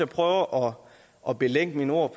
prøver at belægge mine ord